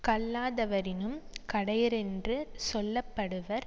கல்லாதவரினும் கடையரென்று சொல்ல படுவர்